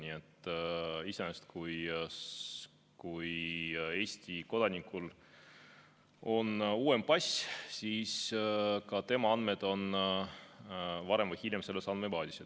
Nii et iseenesest, kui Eesti kodanikul on uuem pass, siis ka tema andmed on varem või hiljem selles andmebaasis.